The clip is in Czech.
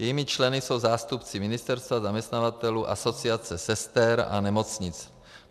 Jejími členy jsou zástupci ministerstva, zaměstnavatelů, Asociace sester a nemocnic.